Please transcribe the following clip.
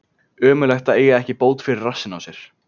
Ömurlegt að eiga ekki bót fyrir rassinn á sér.